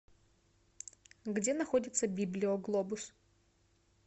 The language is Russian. где находится библио глобус